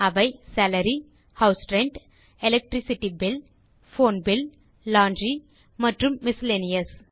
அவை salary house rent electricity bill phone bill laundry மற்றும் miscellaneous